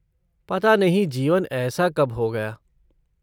पता नहीं जीवन ऐसा कब हो गया।